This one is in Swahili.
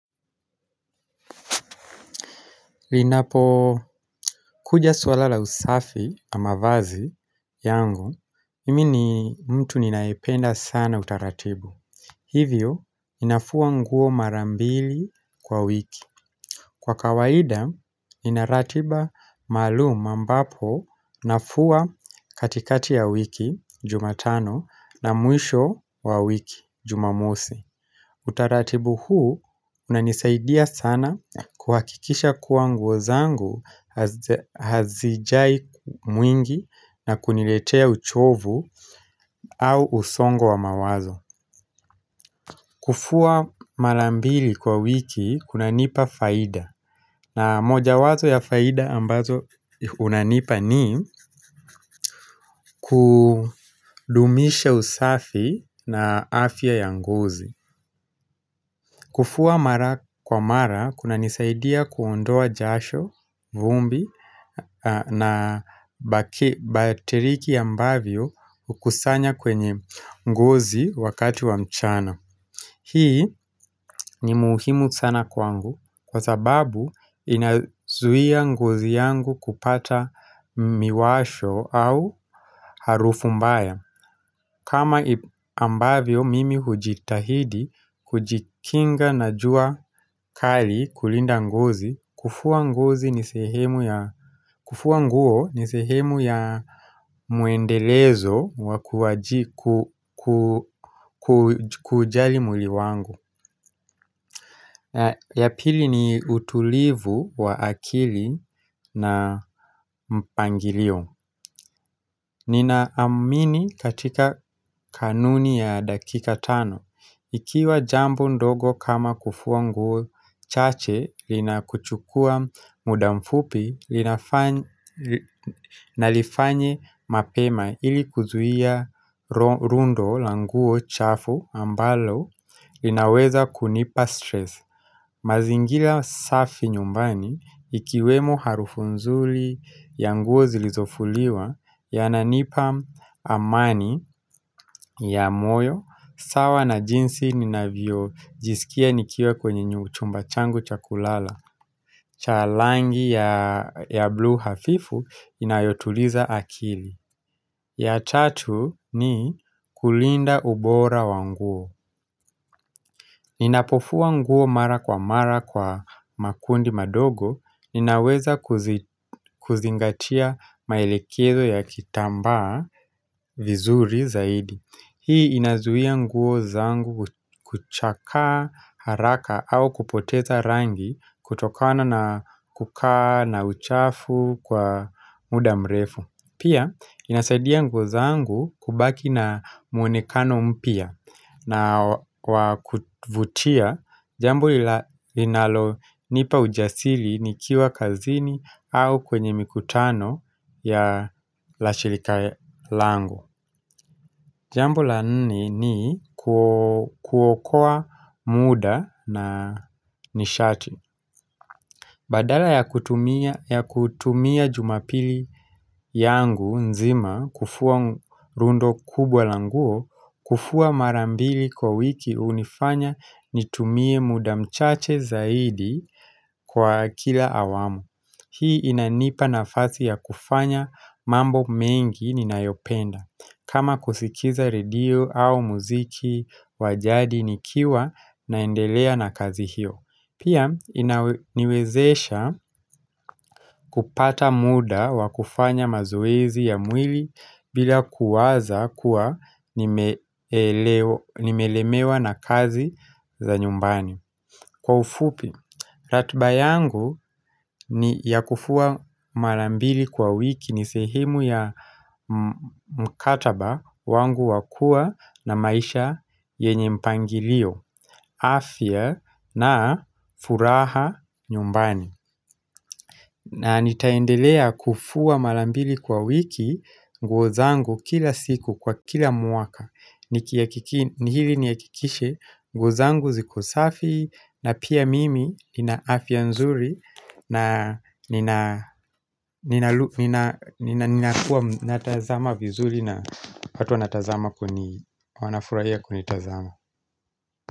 Linapo kuja suala la usafi na mavazi yangu, mimi ni mtu ninaipenda sana utaratibu. Hivyo, ninafua nguo mara mbili kwa wiki. Kwa kawaida, inaratiba maluuma ambapo nafua katikati ya wiki, jumatano, na mwisho wa wiki, jumamosi. Utaratibu huu unanisaidia sana kuhakikisha kuwa nguo zangu hazijai mwingi na kuniletea uchovu au usongo wa mawazo. Kufua mara mbili kwa wiki kuna nipa faida. Na moja wazo ya faida ambazo unanipa ni kudumisha usafi na afya ya ngozi. Kufua mara kwa mara, kuna nisaidia kuondoa jasho, vumbi na bateriki ambavyo kusanya kwenye ngozi wakati wa mchana. Hii ni muuhimu sana kwangu kwa sababu inazuia ngozi yangu kupata miwasho au harufu mbaya. Kama ambavyo mimi hujitahidi, hujikinga na jua kali kulinda ngozi, kufuwa nguo ni sehemu ya muendelezo wa kujali mwili wangu. Ya pili ni utulivu wa akili na mpangilio Ninaamini katika kanuni ya dakika tano Ikiwa jambo ndogo kama kufua nguo chache lina kuchukua muda mfupi nalifanye mapema ili kuzuia rundo la nguo chafu ambalo linaweza kunipa stress mazingira safi nyumbani ikiwemo harufu nzuri ya nguo zilizofuliwa ya nanipa amani ya moyo, sawa na jinsi ninavyo jisikia nikiwa kwenye nyu chumba changu cha kulala. Cha langi ya bluu hafifu inayotuliza akili. Ya tatu ni kulinda ubora wanguo. Ninapofua nguo mara kwa mara kwa makundi madogo, ninaweza kuzingatia maelekezo ya kitamba vizuri zaidi. Hii inazuia nguo zangu kuchaka haraka au kupoteza rangi kutokana na kukaa na uchafu kwa muda mrefu. Pia, inasaidia nguo zangu kubaki na mwonekano mpya na wakutvutia jambo linalo nipa ujasili nikiwa kazini au kwenye mikutano ya lashilika langu. Jambu la nne ni kuokoa muda na nishati. Badala ya kutumia jumapili yangu nzima kufua rundo kubwa la nguo, kufua mara mbili kwa wiki unifanya nitumie muda mchache zaidi kwa kila awamu. Hii inanipa nafasi ya kufanya mambo mengi ninayopenda kama kusikiza redio au muziki wajadi nikiwa naendelea na kazi hiyo Pia inaniwezesha kupata muda wa kufanya mazoezi ya mwili bila kuwaza kuwa nimelemewa na kazi za nyumbani Kwa ufupi, ratiba yangu ni ya kufua mara mbili kwa wiki ni sehemu ya mkataba wangu wakua na maisha yenye mpangilio, afya na furaha nyumbani. Na nitaendelea kufua mara mbili kwa wiki nguo zangu kila siku kwa kila mwaka Nihili nihakikishe nguo zangu ziko safi na pia mimi nina afya nzuri na na nina kuwa natazama vizuri na watu natazama kweni wanafuraia kweni tazama.